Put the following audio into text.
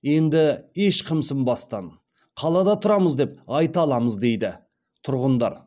енді еш қымсынбастан қалада тұрамыз деп айта аламыз дейді тұрғындар